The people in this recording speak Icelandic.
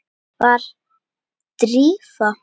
Var Drífa?